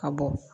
A bɔ